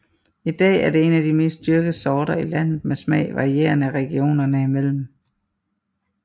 I dag er det en af de mest dyrkede sorter i landet med smag varierende regionerne imellem